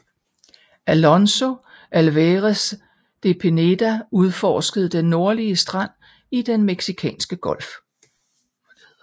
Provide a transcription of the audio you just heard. Alonso Álvarez de Pineda udforskede den nordlige strand i Den meksikanske Golf